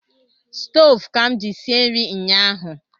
Stove ka m ji sie nri nyahu